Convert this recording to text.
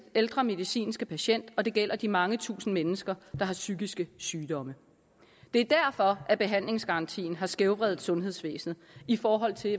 ældre medicinske patienter og det gælder de mange tusinde mennesker der har psykiske sygdomme det er derfor at behandlingsgarantien har skævvredet sundhedsvæsenet i forhold til